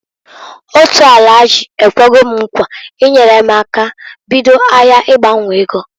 Otu Alahaji ekwego m nkwa inyere m aka bido ahịa ịgbanwo ego.